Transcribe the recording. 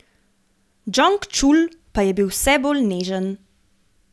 Džong Čul pa je bil vse bolj nežen.